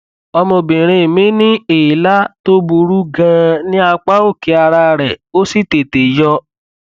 ọmọbìnrin mi ní èélá tó burú ganan ní apá òkè ara rẹ ó sì tètè yọ